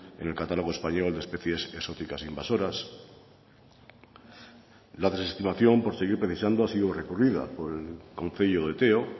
en el catálogo español de especies exóticas no invasoras la desestimación ha sido recurrida por el concello de teo